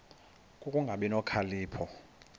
ku kungabi nokhalipho